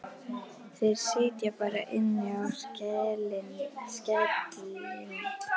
Þeir sitja bara inni í skelinni.